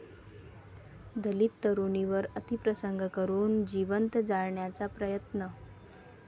दलित तरुणीवर अतिप्रसंग करून जिवंत जाळण्याचा प्रयत्न